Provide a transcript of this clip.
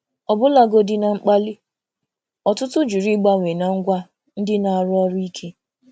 Ọbụlagodi na mkpali, ọtụtụ jụrụ ịgbanwee na ngwa ndị na-arụ ọrụ ike.